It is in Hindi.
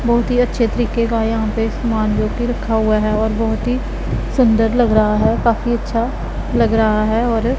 बहुत ही अच्छे तरीके का यहा पे समान जो की रखा हुआ है और बहुत ही सुंदर लग रहा है काफी अच्छा लग रहा है और --